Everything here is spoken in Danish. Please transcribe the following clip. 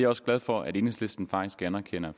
også glad for at enhedslisten faktisk anerkender